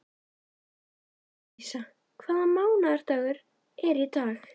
Annalísa, hvaða mánaðardagur er í dag?